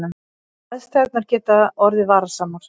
Aðstæður geta orðið varasamar